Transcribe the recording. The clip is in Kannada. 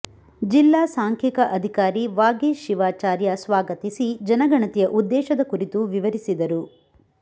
ಜಿಲ್ಲಾ ಸಾಂಖ್ಯಿಕ ಅಧಿಕಾರಿ ವಾಗೀಶ್ ಶಿವಾಚಾರ್ಯ ಸ್ವಾಗತಿಸಿ ಜನಗಣತಿಯ ಉದ್ದೇಶದ ಕುರಿತು ವಿವರಿಸಿದರು